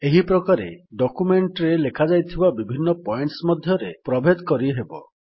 ଏହିପ୍ରକାରେ document ରେ ଲେଖାଯାଇଥିବା ବିଭିନ୍ନ ପଏଣ୍ଟସ୍ ମଧ୍ୟରେ ପ୍ରଭେଦ କରିହେବ